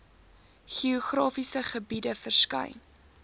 geografiese gebiede verskyn